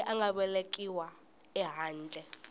loyi a nga velekiwa ehandle